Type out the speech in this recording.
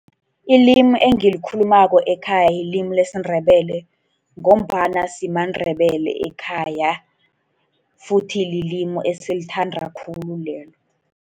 Ilimi engilikhulumako ekhaya lilimi lesiNdebele, ngombana simaNdebele ekhaya, futhi lilimi esilithada khulu lelo.